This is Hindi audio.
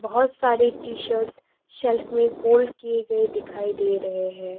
बहुत सारे टी शर्ट सेल्फ में फोल्ड किए गए दिखाई दे रहे हैं।